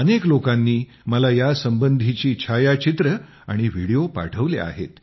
अनेक लोकांनी मला यासंबंधीची छायाचित्रे आणि व्हिडिओ पाठवले आहेत